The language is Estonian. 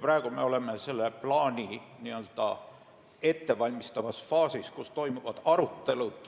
Praegu me oleme plaani ettevalmistavas faasis, toimuvad ekspertide arutelud